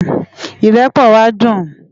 Irèpò wá dún